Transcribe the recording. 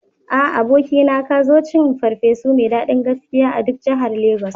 A, abokina, ka zo cin ferfesu mai daɗin gaskiya a duk jahar lagos